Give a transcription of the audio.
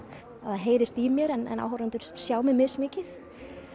það heyrist í mér en áhorfendur sjá mig mismikið